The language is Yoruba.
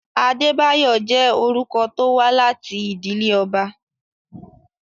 Adébáyọ̀ jẹ́ orúkọ tó wá láti ìdílé ọba.